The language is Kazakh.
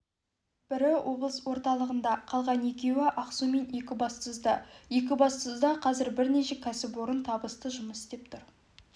бірі облыс орталығында қалған екеуі ақсу мен екібастұзда екібастұзда қазір бірнеше кәсіпорын табысты жұмыс істеп тұр